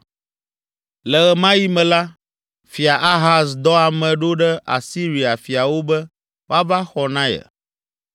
Le ɣe ma ɣi me la, fia Ahaz dɔ ame ɖo ɖe Asiria fiawo be woava xɔ na ye.